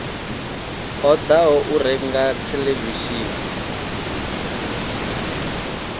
ṱo ḓaho u renga theḽevishini